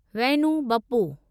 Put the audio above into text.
Vainu Bappu